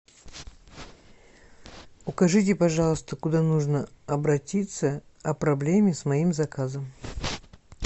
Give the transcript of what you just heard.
укажите пожалуйста куда нужно обратиться о проблеме с моим заказом